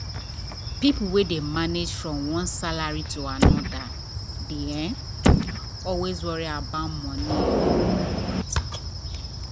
people wey dey manage from one salary to another dey um always worry about money um matter.